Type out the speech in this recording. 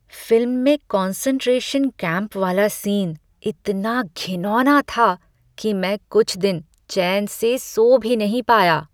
Film में concentration camp वाला scene इतना घिनौना था कि मैं कुछ दिन चैन से सो भी नहीं पाया।